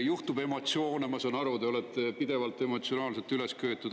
Juhtub emotsioone, ma saan aru, te olete pidevalt emotsionaalselt üles köetud.